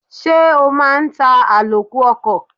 Ṣé o máa ń ta àlòkù ọkọ̀?